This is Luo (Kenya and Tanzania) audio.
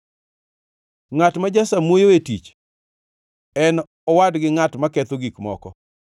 Ngʼat ma jasamuoyo e tich en owadgi ngʼat maketho gik moko.